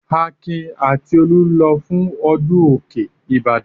Akin àti Olú ń lọ fún ọdún òkè Ìbàdàn.